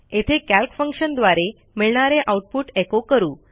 येथे कॅल्क फंक्शनद्वारे मिळणारे आऊटपुट एचो करू